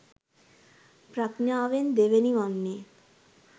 ප්‍රඥාවෙන් දෙවෙනි වන්නේ